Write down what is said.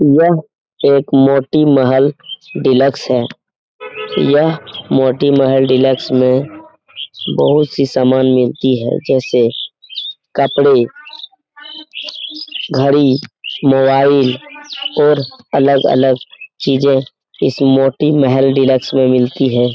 यह एक मोती महल डिलक्स है यह मोती महल डिलक्स में बहुत सी सामान मिलती हैं जैसे कपड़े घड़ी मोबाइल और अलग-अलग चीजें इस मोती महल डिलक्स में मिलती है ।